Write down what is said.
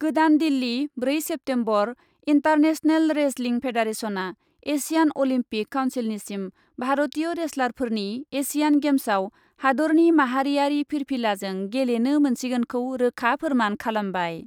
गोदान दिल्ली, ब्रै September, international wrestling फेडारेसनआ एसियान अलिम्पिक काउन्सिलनिसिम भारतीय रेसलारफोरनि एसियान गेम्सआव हादरनि माहारियारि फिरफिलाजों गेलेनो मोनसिगोनखौ रोखा फोरमान खालामबाय।